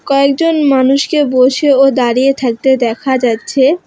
কয়েকজন মানুষকে বসে ও দাঁড়িয়ে থাকতে দেখা যাচ্ছে।